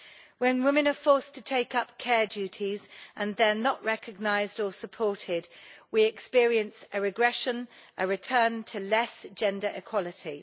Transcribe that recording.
When women are forced to take up care duties and they are not recognised or supported, we experience a regression a return to less gender equality.